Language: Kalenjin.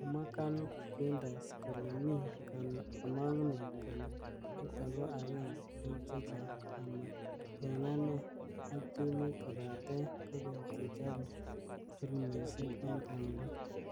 Kamwa Kang Quintus kole mi kama'ngunet kole nitok ko agenge eng checha'ng ,ama eng ane ak timit kobate kokeny chechobe filimishek eng Cameroon,"